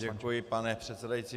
Děkuji, pane předsedající.